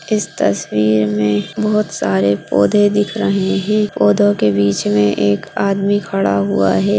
इस तस्वीर में बहुत सारे पौधे दिख रहे है पौधे के बीच में एक आदमी खड़ा हुआ है।